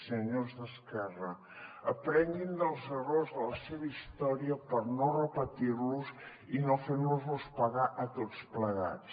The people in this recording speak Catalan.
senyors d’esquerra aprenguin dels errors de la seva història per no repetir los i no fer nos els pagar a tots plegats